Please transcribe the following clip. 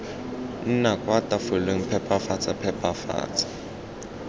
nna kwa tafoleng phepafatsa phepafatsa